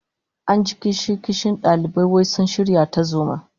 An ji kishin-kishin dalibai wai sun shirya tarzoma